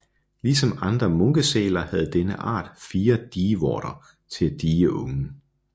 Ligesom andre munkesæler havde denne art fire dievorter til at die ungen